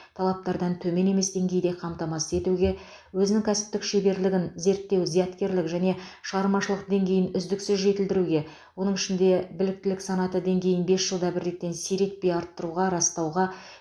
талаптардан төмен емес деңгейде қамтамасыз етуге өзінің кәсіптік шеберлігін зерттеу зияткерлік және шығармашылық деңгейін үздіксіз жетілдіруге оның ішінде біліктілік санаты деңгейін бес жылда бір реттен сиретпей арттыруға растауға